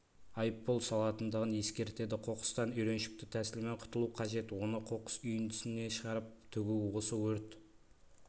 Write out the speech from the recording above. айыппұл салынатындығын ескертеді қоқыстан үйреншікті тәсілмен құтылу қажет оны қоқыс үйіндісіне шығарып төгу осы өрт